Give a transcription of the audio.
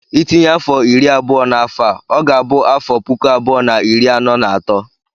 Ị tinye afọ iri abụọ na afọ a, ọ ga-abụ afọ puku abụọ na iri anọ na atọ.